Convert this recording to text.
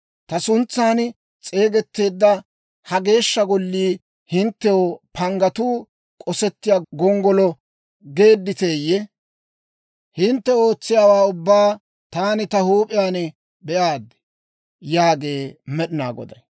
Ta suntsan s'eegetteedda ha Geeshsha Gollii hinttew panggatuu k'osettiyaa gonggolo geedditeeyye? Hintte ootsiyaawaa ubbaa taani ta huup'iyaan be'aad» yaagee Med'inaa Goday.